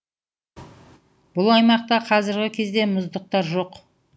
бұл аймақта қазіргі кезде мұздықтар жоқ